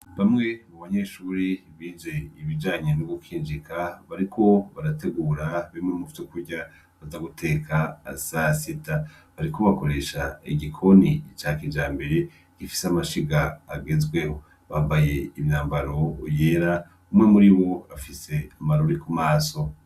Bamwe mu banyeshuri bize ibijanye no gukinjika bariko barategura bimwe mu vyo kurya baza guteka saa sita bariko bakoresha igikoni ca kijambere gifise amashiga agezweho, Bambaye umwambaro yera umwe muri bo afise amarori ku maso.